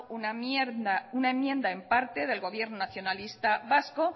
una enmienda en parte del gobierno nacionalista vasco